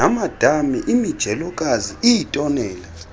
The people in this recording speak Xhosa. namadami imijelokazi iitonela